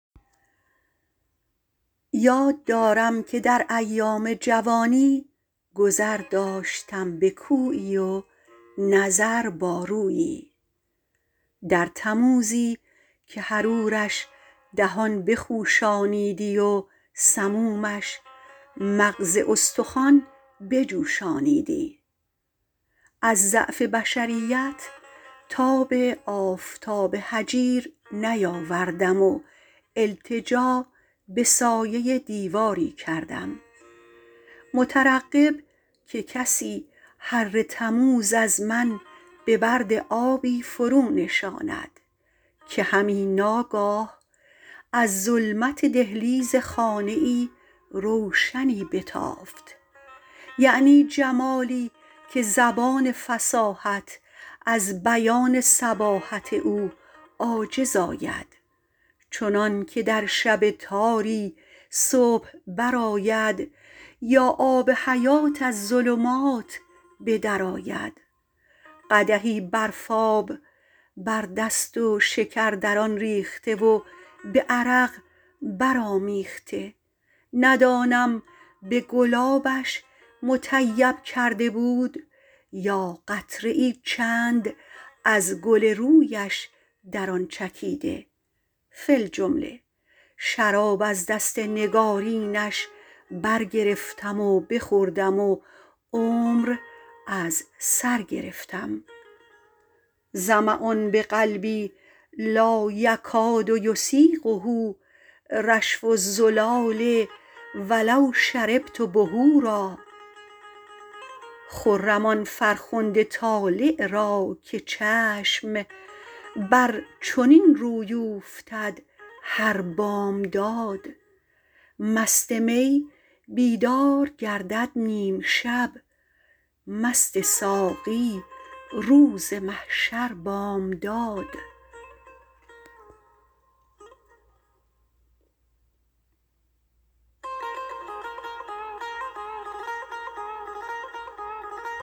یاد دارم که در ایام جوانی گذر داشتم به کویی و نظر با رویی در تموزی که حرورش دهان بخوشانیدی و سمومش مغز استخوان بجوشانیدی از ضعف بشریت تاب آفتاب هجیر نیاوردم و التجا به سایه دیواری کردم مترقب که کسی حر تموز از من به برد آبی فرو نشاند که همی ناگاه از ظلمت دهلیز خانه ای روشنی بتافت یعنی جمالی که زبان فصاحت از بیان صباحت او عاجز آید چنان که در شب تاری صبح بر آید یا آب حیات از ظلمات به در آید قدحی برفاب بر دست و شکر در آن ریخته و به عرق برآمیخته ندانم به گلابش مطیب کرده بود یا قطره ای چند از گل رویش در آن چکیده فی الجمله شراب از دست نگارینش برگرفتم و بخوردم و عمر از سر گرفتم ظمأ بقلبی لا یکاد یسیغه رشف الزلال ولو شربت بحورا خرم آن فرخنده طالع را که چشم بر چنین روی اوفتد هر بامداد مست می بیدار گردد نیم شب مست ساقی روز محشر بامداد